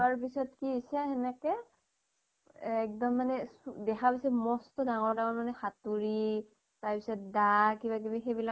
যোৱাৰ পিছত কি হৈছে সেনেকে এক্দম মানে চু দেখা পাইছে মস্ত ডাঙৰ তাৰ মানে হাতুৰী, তাৰ পিছত দা কিবা কিবি সেইবিলাক